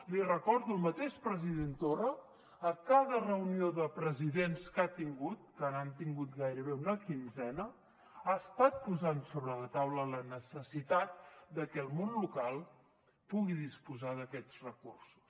l’hi recordo el mateix president torra a cada reunió de presidents que ha tingut que n’han tingut gairebé una quinzena ha estat posant sobre la taula la necessitat de que el món local pugui disposar d’aquests recursos